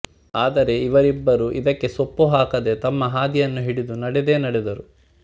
ಆದರೆ ಇವರಿಬ್ಬರೂ ಇದಕ್ಕೆ ಸೊಪ್ಪು ಹಾಕದೆ ತಮ್ಮ ಹಾದಿಯನ್ನು ಹಿಡಿದು ನಡೆದೇ ನಡೆದರು